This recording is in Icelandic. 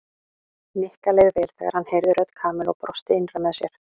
Nikka leið vel þegar hann heyrði rödd Kamillu og brosti innra með sér.